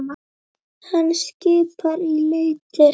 Hann skipar í leitir.